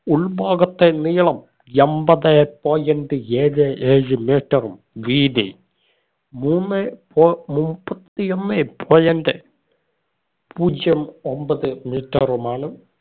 ഉൾഭാഗത്തെ നീളം എമ്പതെ point ഏഴേ ഏഴ് metre ഉം വീതി മൂന്നേ പൊ മുപ്പത്തിയൊന്നെ point പൂജ്യം ഒമ്പത് metre ഉമാണ്